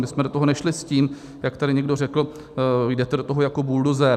My jsme do toho nešli s tím, jak tady někdo řekl: jdete do toho jako buldozer.